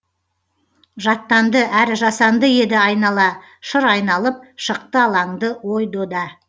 жаттанды әрі жасанды еді айнала шыр айналып шықты алаңды ой дода